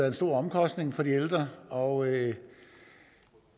en stor omkostning for de ældre og